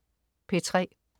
P3: